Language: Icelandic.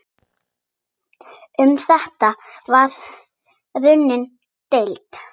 Um þetta var raunar deilt.